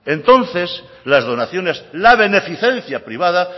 entonces las donaciones la beneficencia privada